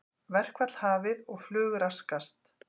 Verkfall hafið og flug raskast